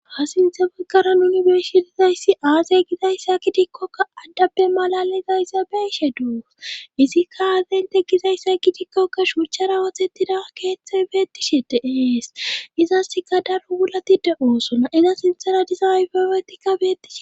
ha sinthe boggara nuni beshidizayssi aazey gidayssa kidikkokka addapbe malali zayssa beishe duo izikka aazeynte gizayssa gidikkokka shurchara wothettida keeththey beettishe deees izaska daro wulatide oosona iza sinthara dizayfewetikka bettihe